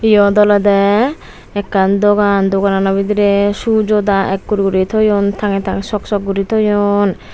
iyot olode ekkan dogan dogan ano bidire shoe joda ekkur guri thoyun tangey tangey sok sok guri thoyun.